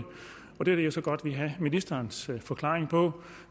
og det er det jeg så godt vil have ministerens forklaring på